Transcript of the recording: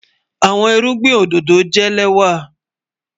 Àwọn ìrùgbìn ọdọdọ jẹ́ lẹ́wà